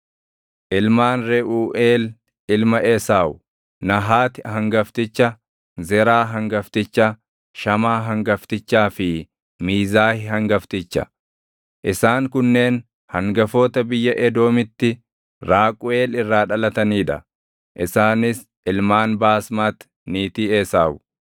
Ilmaan Reʼuuʼeel ilma Esaawu: Nahaati hangafticha, Zeraa hangafticha, Shamaa hangaftichaa fi Miizaah hangafticha. Isaan kunneen hangafoota biyya Edoomitti Raaquʼel irraa dhalatanii dha; isaanis ilmaan Baasmati niitii Esaawu.